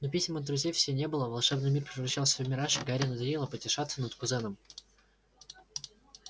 но писем от друзей все не было волшебный мир превращался в мираж и гарри надоело потешаться над кузеном